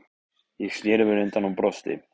Ég sneri mér undan og brosti.